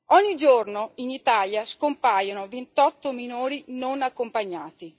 Ogni giorno in Italia scompaiono 28 minori non accompagnati.